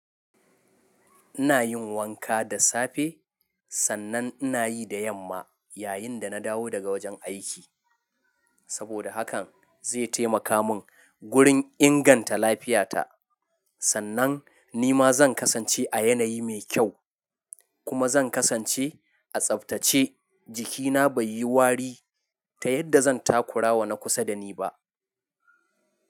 Ina yin wanka da safe, sannan ina yi da yamma yayin da na dawo daga wajen aiki. Saboda hakan, zai taimaka mun gurin inganta lafiyata. Sannan ni ma zan kasance a yanayi mai kyau kuma zan kasance a tsaftace, jikina bai yi wari ta yadda zan takura wa na kusa da ni ba.